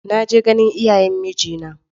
Na je ganin iyayen mijina na.